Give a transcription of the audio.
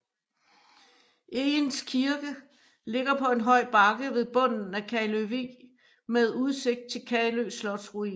Egens Kirke ligger på en høj bakke ved bunden af Kaløvig med udsigt til Kalø Slotsruin